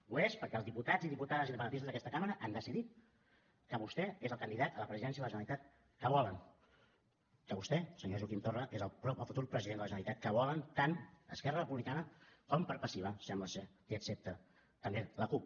ho és perquè els diputats i diputades independentistes d’aquesta cambra han decidit que vostè és el candidat a la presidència de la generalitat que volen que vostè senyor joaquim torra és el futur president de la generalitat que volen tant esquerra republicana com per passiva sembla ser que accepta també la cup